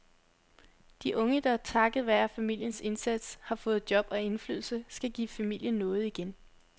De unge, der takket være familiens indsats har fået job og indflydelse, skal give familien noget igen.